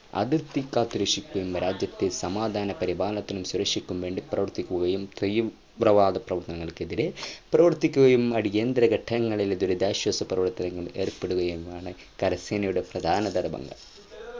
അതിർത്തി കാത്തു രക്ഷിക്കുകയും രാജ്യത്തെ സമാധാന പരിപാലനത്തിനും സുരക്ഷയ്ക്കും വേണ്ടി പ്രവർത്തിക്കുകയും ക്രയം ങ്ങൾക് എതിരെ പ്രവർത്തിക്കുകയും അടിയന്തര ഘട്ടങ്ങളിൽ ദുരിതാശ്വാസ പ്രവർത്തനങ്ങളിൽ ഏർപ്പെടുകയും ആണ് കര സേനയുടെ പ്രധാന ധർമ്മങ്ങൾ